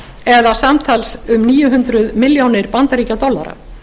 tap eða samtals um níu hundruð milljónir bandaríkjadollara